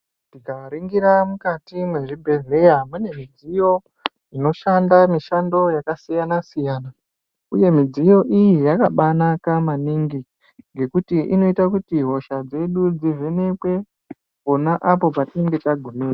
Tikaringira mukati mwezvibhedhleya mune mudziyo inoshanda mishando yakasiyana siyana uye midziyo iyi yakabaanaka maningi ngekuti inoita kuti hosha dzedu dzivhenekwe pona apo patinenge tagumirwa.